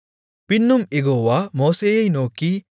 பின்னும் யெகோவா மோசேயை நோக்கி